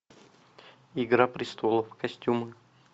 игра престолов костюмы